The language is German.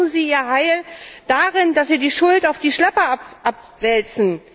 Jetzt suchen sie ihr Heil darin, dass sie die Schuld auf die Schlepper abwälzen.